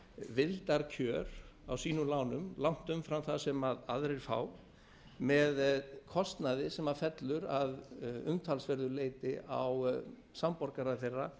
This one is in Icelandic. vildarkjör á sínum lánum langt umfram það sem aðrir fá með kostnaði sem fellur að umtalsverðu leyti á skattborgara þeirra